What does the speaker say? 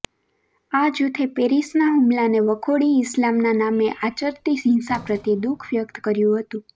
આ જૂથે પેરિસના હુમલાને વખોડી ઈસ્લામના નામે આચરાતી હિંસા પ્રત્યે દુઃખ વ્યક્ત કર્યું હતું